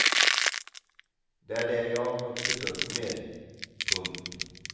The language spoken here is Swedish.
Det är det jag har vuxit upp med. punkt